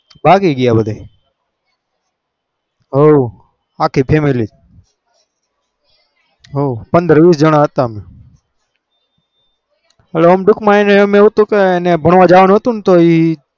ભાગી ગયા બધે હઓ આખી family હઓ પંદર વીસ જાના હતા દુખ માં એવું હતું કે એન ભણવા જવાનું હતું